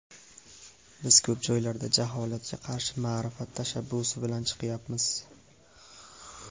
Biz ko‘p joylarda jaholatga qarshi ma’rifat tashabbusi bilan chiqyapmiz.